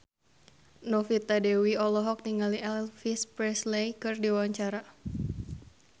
Novita Dewi olohok ningali Elvis Presley keur diwawancara